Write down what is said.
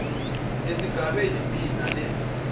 esigabeni b nale